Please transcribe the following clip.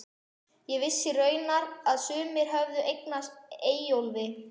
Ég vissi raunar að sumir höfðu eignað Eyjólfi